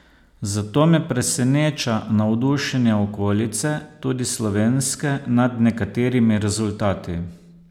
Zato me preseneča navdušenje okolice, tudi slovenske, nad nekaterimi rezultati.